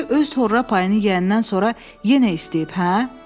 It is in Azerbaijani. Deməli öz horra payını yeyəndən sonra yenə istəyib, hə?